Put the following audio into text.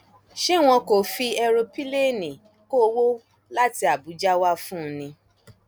ṣé wọn kò fi èròńpilẹẹni kó owó láti àbújá wá fún un ni